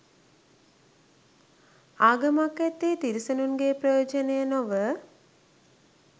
ආගමක් ඇත්තේ තිරිසනුන්ගේ ප්‍රයෝජනය නොව